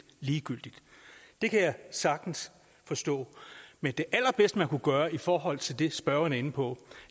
ligegyldigt det kan jeg sagtens forstå men det allerbedste man kunne gøre i forhold til det spørgeren er inde på